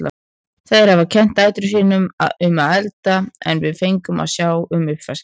Þær hafa kennt dætrum sín um að elda en við fengum að sjá um uppvaskið.